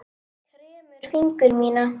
Kremur fingur mína.